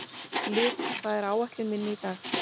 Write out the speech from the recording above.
Liv, hvað er á áætluninni minni í dag?